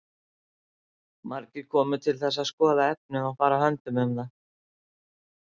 Margir komu til þess að skoða efnið og fara höndum um það.